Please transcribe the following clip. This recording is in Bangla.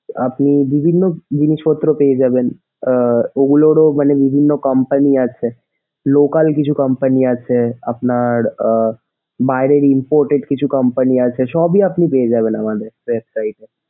আপনি বিভিন্ন জিনিসপত্র পেয়ে যাবেন আহ ওগুলোরও মানে বিভিন্ন company আছে local কিছু company আছে আপনার আহ বাইরের imported কিছু company আছে সবঈ আপনি পেয়ে যাবেন আমাদের website এ,